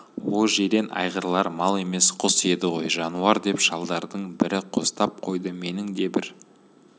о жирен айғырлар мал емес құс еді ғой жануар деп шалдардың бірі қостап қойды менің де бір